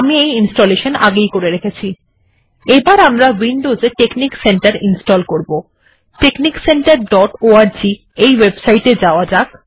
texniccenterঅর্গ এই ওএবসাইট এ যাওয়া যাক